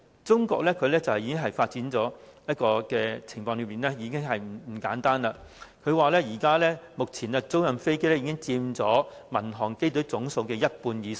中國發展的情況已不簡單，他們表示，目前租賃飛機已佔民航機隊總數的一半以上。